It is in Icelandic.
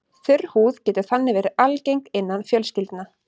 Þurr húð getur þannig verið algeng innan fjölskyldna.